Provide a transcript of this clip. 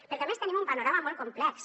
perquè a més tenim un panorama molt complex